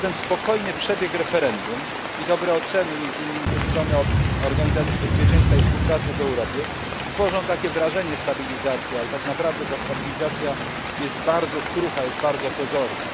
Ten spokojny przebieg referendum i dobre oceny, między innymi ze strony Organizacji Bezpieczeństwa i Współpracy w Europie, tworzą wrażenie stabilizacji, ale tak naprawdę stabilizacja jest bardzo krucha, bardzo pozorna.